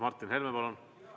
Martin Helme, palun!